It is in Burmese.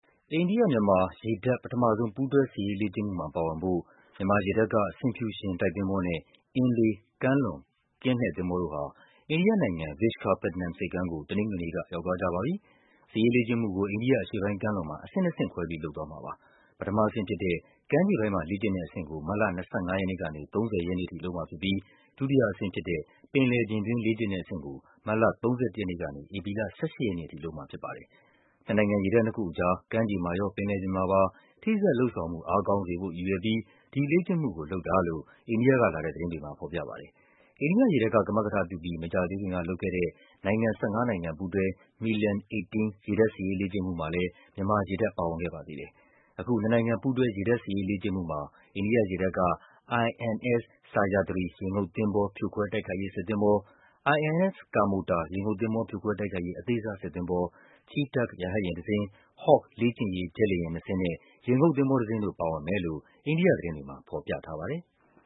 အိန္ဒိယ-မြန်မာ ရေတပ် ပထမဆုံး ပူးတွဲစစ်ရေးလေ့ကျင့်မှုမှာ ပါဝင်ဖို့ မြန်မာရေတပ်က ဆင်ဖြူရှင် တိုက်သင်္ဘောနဲ့ အင်းလေး ကမ်းလွန်ကင်းလှည့်သင်္ဘောတို့ဟာ အိန္ဒိယနိုင်ငံ၊ Vishakhapatnam ဆိပ်ကမ်းကို တနင်္ဂနွေနေ့က ရောက်သွားကြပါပြီ။ စစ်ရေးလေ့ကျင့်မှုကို အိန္ဒိယအရှေ့ပိုင်းကမ်းလွန်မှာ အဆင့်နှစ်ဆင့်ခွဲပြီး လုပ်သွားမှာပါ။ ပထမအဆင့်ဖြစ်တဲ့ ကမ်းခြေပိုင်းမှာ လေ့ကျင့်တဲ့အဆင့်ကို မတ်လ ၂၅ ရက်နေ့ကနေ ၃၀ ရက်နေ့အထိ လုပ်မှာဖြစ်ပြီး ဒုတိယအဆင့်ဖြစ်တဲ့ ပင်လယ်ပြင်တွင်း လေ့ကျင့်တဲ့အဆင့်ကို မတ်လ ၃၁ ရက်နေ့ကနေ ဧပြီလ ၁၈ ရက်နေ့အထိ လုပ်မှာဖြစ်ပါတယ်။ နှစ်နိုင်ငံရေတပ်နှစ်ခုအကြား ကမ်းခြေမှာရော၊ ပင်လယ်ပြင်မှာပါ ထိစပ်လုပ်ဆောင်မှု အားကောင်းစေဖို့ ရည်ရွယ်ပြီး ဒီလေ့ကျင့်မှု ကိုလုပ်တာလို့ အိန္ဒိယကလာတဲ့ သတင်းတွေမှာ ဖော်ပြပါတယ်။ အိန္ဒိယရေတပ်က ကမကထပြုပြီး မကြာသေးခင်ကလုပ်ခဲ့တဲ့ နိုင်ငံ ၁၅ နိုင်ငံပူးတွဲ MILAN-18 ရေတပ်စစ်ရေးလေ့ကျင့်မှုမှာလည်း မြန်မာရေတပ်ပါဝင်ခဲ့ပါသေးတယ်။ အခု နှစ်နိုင်ငံ ပူးတွဲ ရေတပ်စစ်ရေးလေ့ကျင့်မှုမှာ အိန္ဒိယရေတပ်က INS Sahyadri ရေငုပ်သင်္ဘော ဖြိုခွဲတိုက်ခိုက်ရေးစစ်သင်္ဘော၊ INS Kamorta ရေငုပ်သင်္ဘော ဖြိုခွဲတိုက်ခိုက်ရေး အသေးစားစစ်သင်္ဘော၊ Chetak ရဟတ်ယာဉ်တစင်း၊ Hawk လေ့ကျင့်ရေး ဂျက်လေယာဉ်နှစ်စင်းနဲ့ ရေငုပ်သင်္ဘောတစင်းတို့ ပါဝင်မယ်လို့ အိန္ဒိယသတင်းတွေမှာ ဖော်ပြထားပါတယ်။